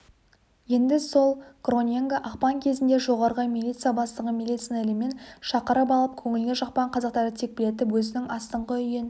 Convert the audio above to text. енді сол гроненго ақпан кезінде жоғарғы милиция бастығын милиционерлермен шақырып алып көңіліне жақпаған қазақтарды текпілетіп өзінің астыңғы үйін